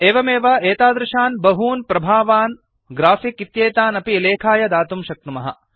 एवमेव एतादृशान् बहून् प्रभावान् ग्राफिक् इत्येतान् अपि लेखाय दातुं शक्नुमः